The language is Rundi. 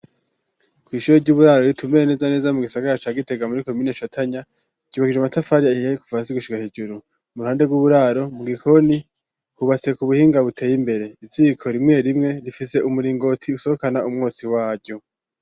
Kw'ishure ry'uburaro ritumbereye neza na neza mugisagara ca Gitega muri komine Shatanya, ryubakishijwe amatafari ahiye kuva hasi gushika hejuru, iruhande rw'uburaro mugikoni, hubatse k'ubuhinga buteye imbere, iziko rimwerimwe, rifise umuringoti usohokana umwotsi waryo.